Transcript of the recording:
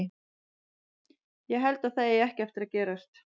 Ég held að það eigi ekki eftir að gerast.